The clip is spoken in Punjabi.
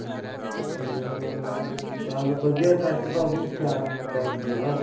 ਹਾਂ ਚਲ ਵਧੀਆ ਟ੍ਰੇਕ੍ਟਰ ਤਾਂ ਉਹ ਵੀ ਜਾਨ ਚ ਆ ਪੂਰਾ